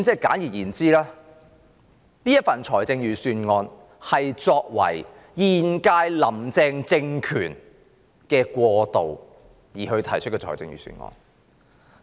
簡而言之，這顯然是為了現屆"林鄭"政權過渡而提出的預算案。